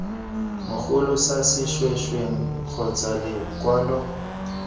mogolo sa sešwengšeng kgotsa lekwalo